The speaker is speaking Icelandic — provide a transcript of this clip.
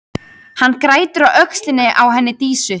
Hann grætur á öxlinni á henni Dísu.